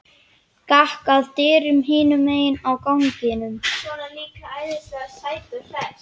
Gekk að dyrum hinum megin á ganginum.